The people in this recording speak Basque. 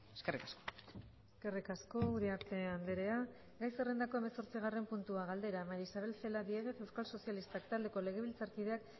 eskerrik asko eskerrik asko uriarte andrea gai zerrendako hamazortzigarren puntua galdera maría isabel celaá diéguez euskal sozialistak taldeko legebiltzarkideak